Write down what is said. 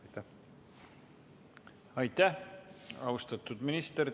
Aitäh, austatud minister!